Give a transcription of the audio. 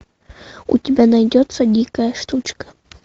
у тебя найдется дикая штучка